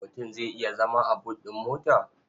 Mutum zai iya zama a but ɗin mota?